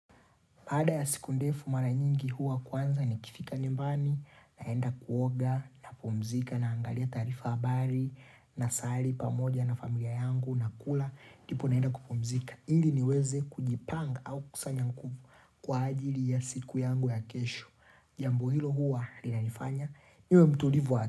Baada ya siku ndefu mara nyingi huwa kwanza nikifika nyumbani, naenda kuoga napumzika naangalia taarifa, habari nasali pamoja na familia yangu, nakula ndipo naenda kupumzika ili niweze kujipanga au kusanya nguvu kwa ajili ya siku yangu ya kesho. Jambo hilo huwa linanifanya niwe mtulivu wa akili.